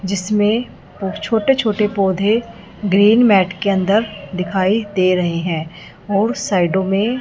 जिसमें बहुत छोटे छोटे पौधे ग्रीन मैट के अंदर दिखाई दे रहे हैं और साइडों में--